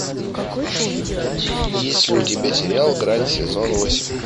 есть ли у тебя сериал грань сезон восемь